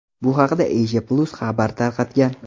Bu haqda Asia-Plus xabar tarqatgan .